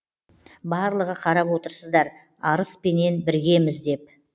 барлығы қарап отырсыздар арыспенен біргеміз деп